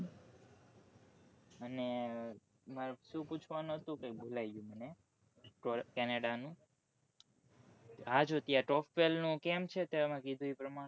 અને મારે શું પૂછવાનું હતું કઈક ભૂલ્લાઈ ગયું મને canada નું હા જો ત્યાં top tail કેમ છે તે કીધું એ પ્રમાણે